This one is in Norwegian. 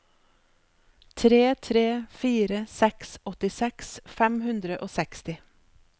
tre tre fire seks åttiseks fem hundre og seksti